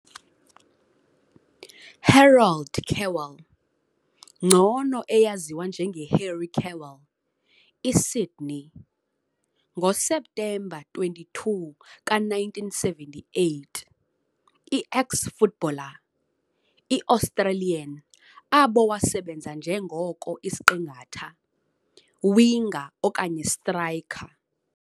Harold Kewell, ngcono eyaziwa njenge Harry Kewell, i-sydney, ngoseptemba 22 ka - 1978, i-eks-footballer, i-australian abo wasebenza njengoko isiqingatha, winger okanye striker.